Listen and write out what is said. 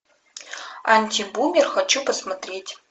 антибумер хочу посмотреть